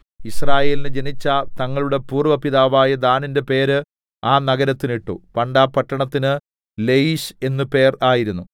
യിസ്രായേലിന് ജനിച്ച തങ്ങളുടെ പൂര്‍വ്വ പിതാവായ ദാനിന്റെ പേര് ആ നഗരത്തിന് ഇട്ടു പണ്ട് ആ പട്ടണത്തിന് ലയീശ് എന്ന് പേർ ആയിരുന്നു